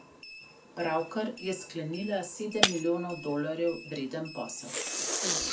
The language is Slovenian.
Pravkar je sklenila sedem milijonov dolarjev vreden posel.